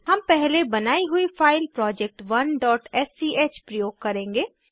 हम पहले बनाई हुई फाइल project1स्क प्रयोग करेंगे